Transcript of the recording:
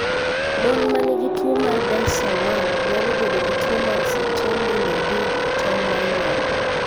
Mon ma nigi tuwo mar DICER1 nyalo bedo gi tuwo mar Sertoli Leydig e tong mar nyuol.